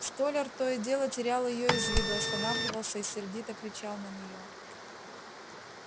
столяр то и дело терял её из виду останавливался и сердито кричал на неё